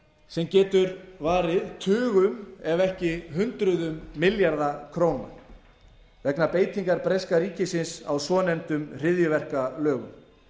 sem getur varið tugum ef ekki hundruðum milljarða króna vegna beitingar breska ríkisins á svonefndum hryðjuverkalögum